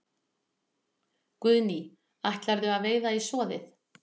Guðný: Ætlarðu að veiða í soðið?